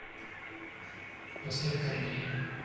поставь корнея